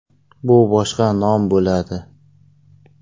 Bu boshqa nom bo‘ladi.